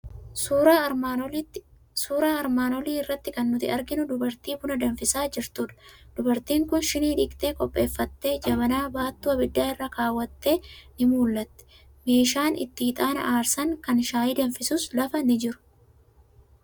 Suuraa armaan olii irratti kan nuti arginu dubartii buna danfisaa jirtudha. Dubartiin kun shinii dhiqxee qopheeffattee, jabana baattuu abiddaa irra keewwattee ni mul'atti. Meeshaan itti ixaana aarsan, kan shayii danfisus lafa ni jiru.